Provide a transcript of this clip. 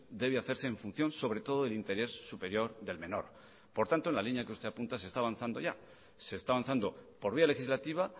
debe hacerse en función sobre todo el interés superior del menor por tanto en la línea que usted apunta se está avanzando ya se está avanzando por vía legislativa